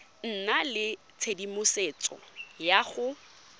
nna le tshedimosetso ya go